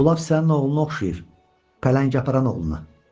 bu lap sənin oğluna oxşayır, pələng aparan oğluna.